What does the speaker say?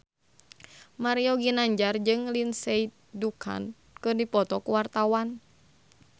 Mario Ginanjar jeung Lindsay Ducan keur dipoto ku wartawan